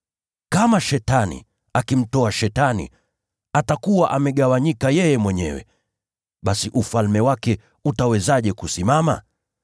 Kama Shetani akimtoa Shetani, atakuwa amegawanyika yeye mwenyewe. Basi ufalme wake utawezaje kusimama?